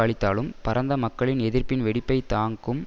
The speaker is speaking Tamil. அளித்தாலும் பரந்த மக்களின் எதிர்ப்ப்பின் வெடிப்பை தாக்கும்